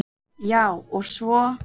Já, og svo.